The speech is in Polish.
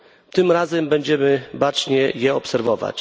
Tym razem będziemy je bacznie obserwować.